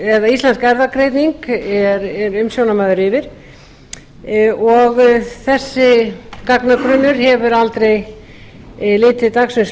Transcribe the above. sem íslensk erfðagreining er umsjónarmaður yfir og þessi gagnagrunnur hefur aldrei litið dagsins